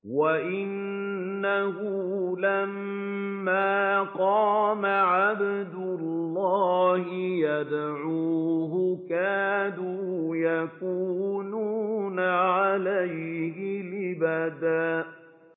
وَأَنَّهُ لَمَّا قَامَ عَبْدُ اللَّهِ يَدْعُوهُ كَادُوا يَكُونُونَ عَلَيْهِ لِبَدًا